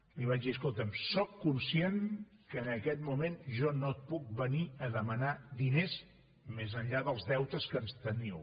li vaig dir escolta’m sóc conscient que en aquest moment jo no et puc venir a demanar diners més enllà dels deutes que ens teniu